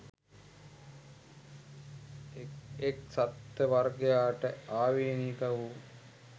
එක් එක් සත්ත්ව වර්ගයාට ආවේණික වූ